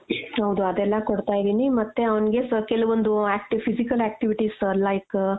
ಹೌದು ಅದೆಲ್ಲಾ ಕೊಡ್ತಾ ಇದೀನಿ ಮತ್ತೆ ಅವ್ನಿಗೆ ಸ್ವಲ್ಪ ಕೆಲವೊಂದು acti physical activities like